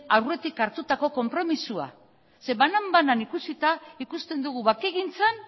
aurretik hartutako konpromisoa banan banan ikusita ikusten dugu bakegintzan